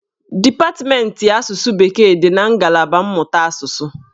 Dipatmentị asụsụ bekee dị na ngalaba mmụta asụsụ.